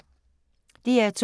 DR2